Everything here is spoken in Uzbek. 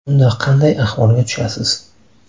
Unda qanday ahvolga tushasiz?